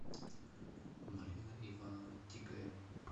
марина ивановна тигаева